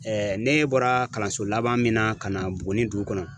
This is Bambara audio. ne bɔra kalanso laban min na ka na buguni dugu kɔnɔ